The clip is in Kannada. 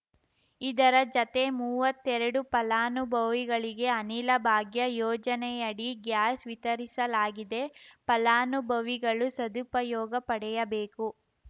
ಇದರ ಜತೆ ಮೂವತ್ತೆರಡು ಫಲಾನುಭವಿಗಳಿಗೆ ಅನಿಲ ಭಾಗ್ಯ ಯೋಜನೆಯಡಿ ಗ್ಯಾಸ್‌ ವಿತರಿಸಲಾಗಿದೆ ಫಲಾನುಭವಿಗಳು ಸದುಪಯೋಗ ಪಡೆಯಬೇಕು